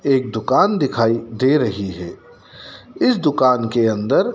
एक दुकान दिखाई दे रही हैं। इस दुकान के अंदर--